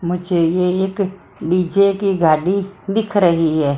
मुझे ये एक डीजे की गाड़ी दिख रही है।